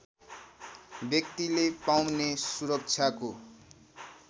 व्यक्तिले पाउने सुरक्षाको